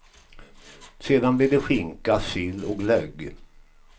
Sedan blir det skinka, sill och glögg.